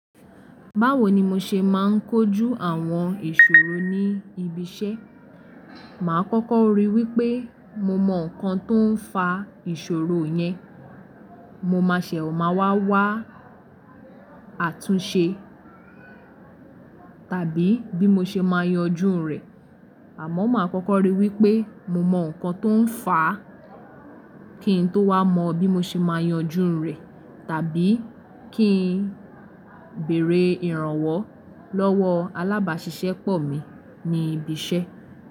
Báwo ni mo ṣe máa ń kojú àwọn ìṣòro ní ibi iṣẹ́? Màá kọ́kọ́ rí i wí pé mo mọ nǹkan tó ń fa ìṣòro yẹn. Mo má ṣe máa wá wá àtúnṣe tàbí bí mo ṣe máa yanjú rẹ̀. Àmọ́, màá kọ́kọ́ ríi wípé mo mọ nǹkan tó ń fàá kí n tó wá mọ bí mo ṣe máa yanjú rẹ̀ tàbí kí n bèrè ìrànwọ́ lọ́wọ́ alábàṣiṣẹ́pọ̀ mi ní ibi iṣẹ́.